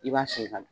I b'a sen ka don